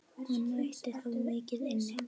Hann ætti þó mikið inni.